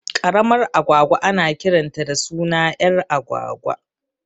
Ƙaramar agwagwa ana kiranta da suna ƴar agwagwa